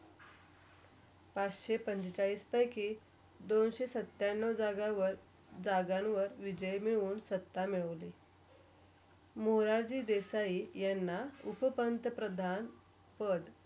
पाचशे पंचेचाळीस पेकी दोनशी सत्यानोव जाग्यावर -जागांवर विजय मिळून सत्ता मिळाली मोरारजी देसाई यांना उपपंतप्रधान पध.